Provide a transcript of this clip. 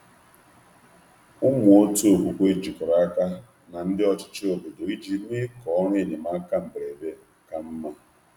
Ụmụ otu okwukwe jikọrọ aka na ndị ọchịchị obodo iji mee ka ọrụ enyemaka mberede ka mma.